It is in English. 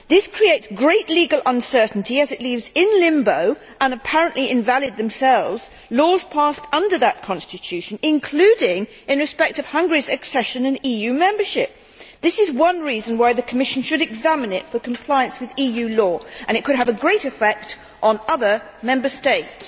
This creates great legal uncertainty as it leaves in limbo, and apparently invalid themselves, laws passed under that constitution including in respect of Hungary's accession and EU membership. This is one reason why the Commission should examine it for compliance with EU law and it could have a great effect on other Member States.